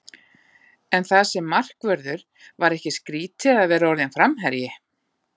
En það sem markvörður, var ekki skrítið að vera orðinn framherji?